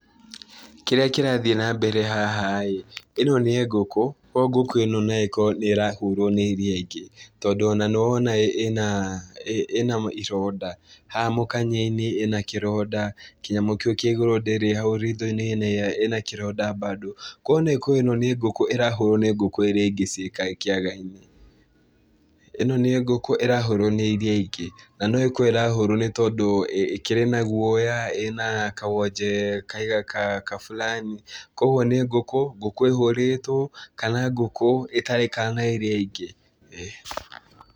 Kĩrĩa kĩrathiĩ na mbere haha-ĩ, ĩno nĩ ngũkũ ũguo ngũkũ ĩno no ĩkorwo nĩĩrahũrwo nĩ iria ingĩ tondũ ona nĩwonaga ĩna, ĩna ironda haha mũkanye-inĩ ĩna kĩronda, kĩnyamũ kĩu kĩa igũrũ ndĩrĩ, hau ritho-inĩ ĩna kĩronda bado kuoguo no ĩkorwo ĩno nĩ ngũkũ ĩrahũrwo nĩ ngũkũ iria ingĩ ciĩ kĩaga-inĩ. Ĩno nĩ ngũkũ ĩrahũrwo nĩ iria ingĩ, na no gũkorwo ĩrahũrwo nĩ tondũ ĩkĩrĩ na guoya, ĩna kawonje kaigana kaburani, kuoguo nĩ ngũkũ, ngũkũ ĩhũrĩtwo kana ngũkũ ĩtaraikara na iria ingĩ, ĩĩ.